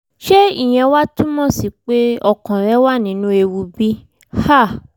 ṣé ìyẹn wá túmọ̀ sí pé ọkàn rẹ̀ wà nínú ewu bí? um